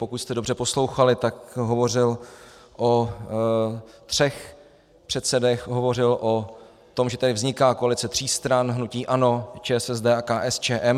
Pokud jste dobře poslouchali, tak hovořil o třech předsedech, hovořil o tom, že tady vzniká koalice tří stran, hnutí ANO, ČSSD a KSČM.